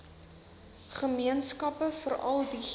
gemeenskappe veral diegene